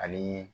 Ani